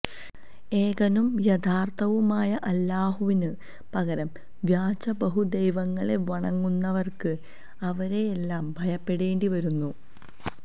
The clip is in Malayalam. ഏകനും യഥാര്ഥവുമായ അല്ലാഹുവിന് പകരം വ്യാജ ബഹുദൈവങ്ങളെ വണങ്ങുന്നവര്ക്ക് അവരെയെല്ലാം ഭയപ്പെടേണ്ടിവരുന്നു